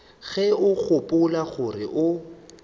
ge o gopola gore o